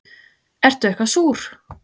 Ertu eitthvað súr?